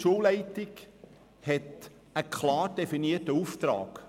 Die Schulleitung hat einen klar definierten Auftrag.